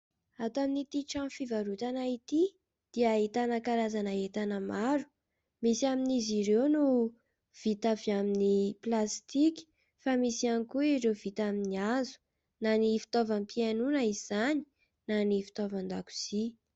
Ato amin'ity trano fivarotana ity dia ahitana karazana entana maro. Misy amin'izy ireo no vita avy amin'ny plastika fa misy ihany koa ireo vita amin'ny hazo na ny fitaovam-pihainoana izany na ny fitaovan-dakozia.